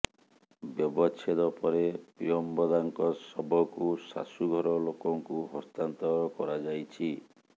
ବ୍ୟବଚ୍ଛେଦ ପରେ ପ୍ରିୟମ୍ବଦାଙ୍କ ଶବକୁ ଶାଶୂଘର ଲୋକଙ୍କୁ ହସ୍ତାନ୍ତର କରାଯାଇଛି